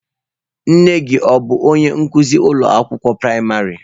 Nne gị ọ bụ onye nkuzi ụlọ akwụkwọ praịmarị?